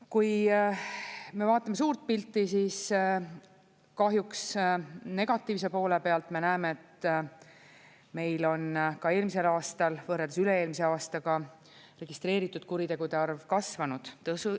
Kui me vaatame suurt pilti, siis kahjuks negatiivse poole pealt me näeme, et meil on ka eelmisel aastal võrreldes üle-eelmise aastaga registreeritud kuritegude arv kasvanud.